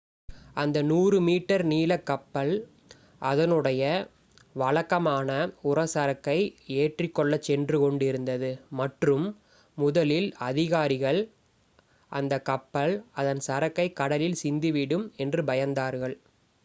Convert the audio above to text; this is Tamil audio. அந்த 100 மீட்டர் நீளக் கப்பல் அதனுடைய வழக்கமான உர சரக்கை ஏற்றிக் கொள்ளச் சென்று கொண்டிருந்தது மற்றும் முதலில் அதிகாரிகள் அந்த கப்பல் அதன் சரக்கை கடலில் சிந்திவிடும் என்று பயந்தார்கள்